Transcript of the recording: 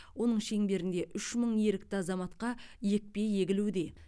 оның шеңберінде үш мың ерікті азаматқа екпе егілуде